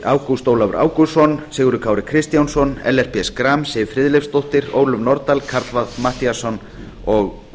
ágúst ólafur ágústsson sigurður kári kristjánsson ellert b schram siv friðleifsdóttir ólöf nordal karl fimmti matthíasson og